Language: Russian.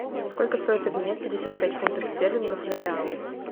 сколько стоит обменять пятьдесят пять фунтов стерлингов на реалы